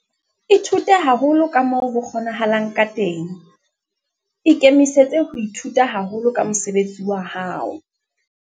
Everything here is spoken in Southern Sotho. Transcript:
Ithute haholo ka moo ho kgonahalang ka teng. Ikemisetse ho ithuta haholo ka mosebetsi wa hao.